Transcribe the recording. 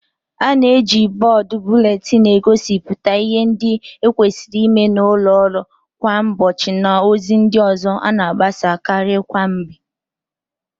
A na-eji bọọdu buletinu egosipụta ịhe ndị e kwesịrị ịme n'ụlọ ọrụ kwa ụbọchị na ozi ndị ọzọ a na-agbasa karị kwa mgbe.